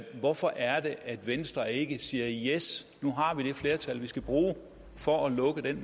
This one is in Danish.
hvorfor er det at venstre ikke siger yes nu har vi det flertal vi skal bruge for at lukke den